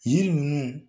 Yiri ninnu